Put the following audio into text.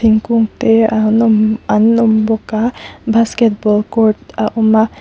thingkung te an awm an awm bawka basketball court a awm a.